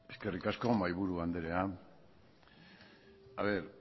eskerrik asko mahaiburu andrea a ver